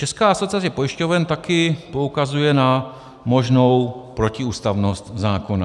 Česká asociace pojišťoven také poukazuje na možnou protiústavnost zákona.